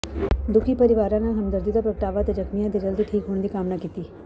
ਦੁਖੀ ਪਰਿਵਾਰਾਂ ਨਾਲ ਹਮਦਰਦੀ ਦਾ ਪ੍ਰਗਟਾਵਾ ਅਤੇ ਜ਼ਖਮੀਆਂ ਦੇ ਜਲਦੀ ਠੀਕ ਹੋਣ ਦੀ ਕਾਮਨਾ ਕੀਤੀ